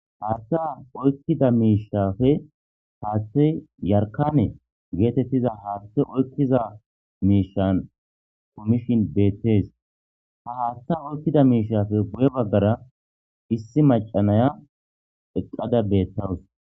Hayssa misileza bolla taasi beetizay aaze gizayssa giddiko woykko xeelishin dizayssi haatha oykkiza miishanne dumma dumma lo'iza miishata gidoyssi qoncce gididi dizayssa besees.